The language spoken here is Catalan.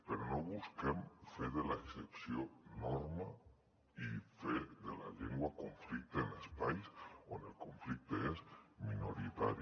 però no busquem fer de l’excepció norma i fer de la llengua conflicte en espais on el conflicte és minoritari